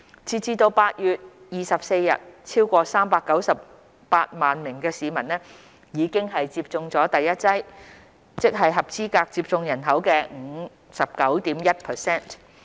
截至8月24日，超過398萬名市民已接種了第一劑疫苗，即合資格接種人口的 59.1%。